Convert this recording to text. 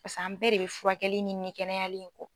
Pasa an bɛɛ de bɛ furakɛli ni kɛnɛyali in kɔ.